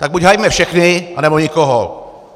Tak buď hajme všechny, anebo nikoho.